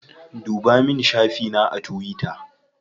Ɗuba min shafi na a tuwita.